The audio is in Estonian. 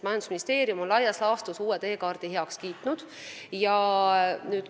Majandusministeerium on uue teekaardi laias laastus heaks kiitnud.